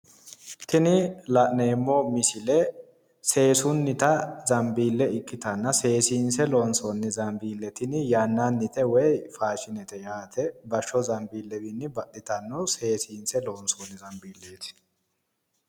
Tini la'neemmo misile seesunnita zambiille ikkitanna seesiinse loonsoonni zambiille tini yannannite woyi faashinete yaate. Bashshoo zambiillewiinni baxxitanno. Seesiinse loonsoonni zambiilleeti.